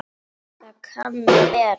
Það kann að vera